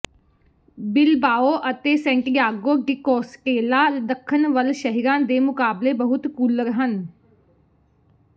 Bilbao ਅਤੇ Santiago de Compostela ਦੱਖਣ ਵੱਲ ਸ਼ਹਿਰਾਂ ਦੇ ਮੁਕਾਬਲੇ ਬਹੁਤ ਕੂਲਰ ਹਨ